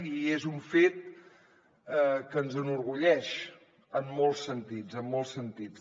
i és un fet que ens enorgulleix en molts sentits en molts sentits